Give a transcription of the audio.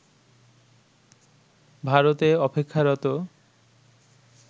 ভারতে অপেক্ষারত